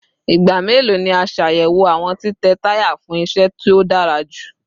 Igba melo ni a ṣayẹwo awọn titẹ taya fun iṣẹ to dara julọ?